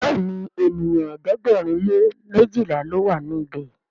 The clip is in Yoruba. Béèni ènìyàn ẹ̀ẹ́dẹ̀gbẹ̀rin lè mejila ló wà níbè.